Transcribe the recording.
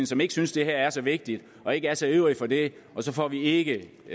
som ikke synes det her er så vigtigt og ikke er så ivrig efter det og så får vi ikke